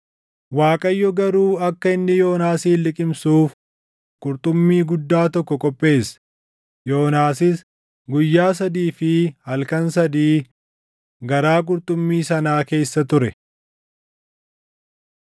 Waaqayyo garuu akka inni Yoonaasin liqimsuuf qurxummii guddaa tokko qopheesse; Yoonaasis guyyaa sadii fi halkan sadii garaa qurxummii sanaa keessa ture.